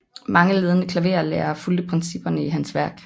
Mange ledende klaverlærere fulgte principperne i hans værk